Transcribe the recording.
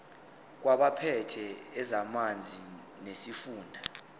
kwabaphethe ezamanzi nesifunda